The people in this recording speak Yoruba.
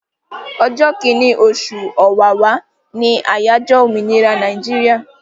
Ọjọ́ kìíní, oṣù Ọ̀wàwà ni àyájọ́ òmìnira Nàíjíríà.